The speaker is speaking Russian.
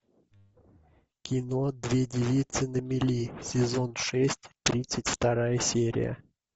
кино две девицы на мели сезон шесть тридцать вторая серия